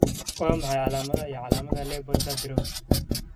Waa maxay calaamadaha iyo calaamadaha LEOPARD syndrome?